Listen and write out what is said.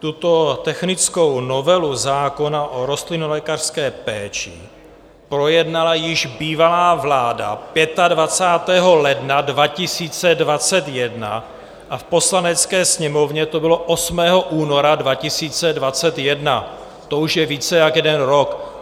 Tuto technickou novelu zákona o rostlinolékařské péči projednala již bývalá vláda 25. ledna 2021 a v Poslanecké sněmovně to bylo 8. února 2021, to už je více jak jeden rok.